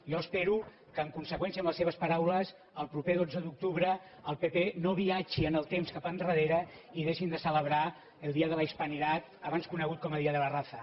jo espero que en conseqüència amb les seves paraules el proper dotze d’octubre el pp no viatgi en el temps cap enrere i deixin de celebrar el día de la hispanidad abans conegut com a día de la raza